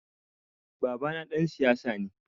Babana ɗan siyasa ne.